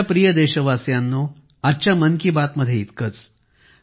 माझ्या प्रिय देशवासियांनो आजच्या मन की बात मध्ये इतकंच